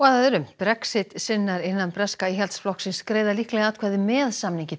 Brexit sinnar innan breska Íhaldsflokksins greiða líklega atkvæði með samningi